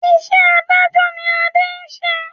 Iṣẹ́ adájọ́ ni Ade ń ṣe